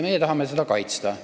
Meie tahame seda kaitsta.